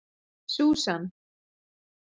Susan